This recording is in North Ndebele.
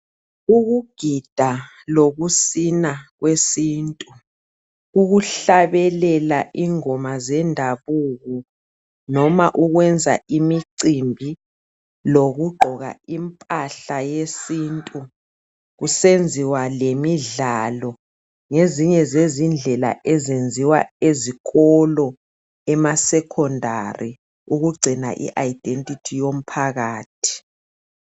Ukugida lokusina kwesintu, ukuhlabelela ingoma zendabuko loba ukwenza imicimbi lokugqoka impahla yesintu kusenziwa lemidlalo ngezinye indlela ezenziwa ezikolo ema secondary ukugcina i-identity yomphakathi.